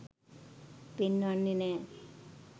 පෙන්වන්නෙ නෑ.